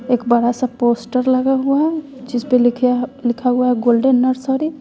एक बड़ा सा पोस्टर लगा हुआ है जिसपे लिखें लिखा हुआ हैं गोल्डेन नर्सरी --